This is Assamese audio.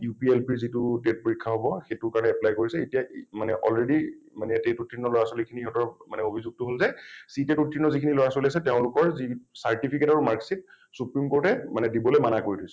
UPLP ৰ যিটো TET পৰীক্ষা হব , সেইটোৰ কাৰণে apply কৰিছে । এতিয়া already মানে TET উত্তীৰ্ণ লৰা ছোৱালী খিনি সিহঁতৰ মানে অভিযোগটো হল যে , CTET উত্তীৰ্ণ যিখিনি লৰা ছোৱালী আছে তেওঁলোকৰ যি certificate আৰু mark sheet supreme court এ দিবলৈ মানা কৰি থৈছে ।